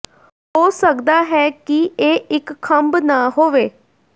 ਹੋ ਸਕਦਾ ਹੈ ਕਿ ਇਹ ਇੱਕ ਖੰਭ ਨਾ ਹੋਵੇ